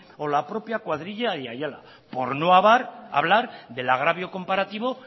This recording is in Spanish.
o la propia cuadrilla de ayala por no hablar del agravio comparativo